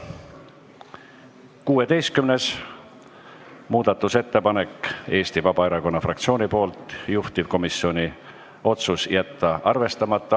16. muudatusettepanek on Eesti Vabaerakonna fraktsioonilt, juhtivkomisjoni otsus: jätta arvestamata.